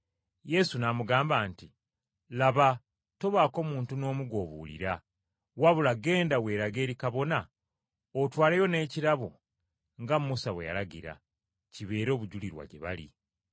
Yesu n’amugamba nti, “Laba, tobaako muntu n’omu gw’obuulira, wabula genda weerage eri kabona otwaleyo n’ekirabo nga Musa bwe yalagira, kibeere obujulirwa gye bali.”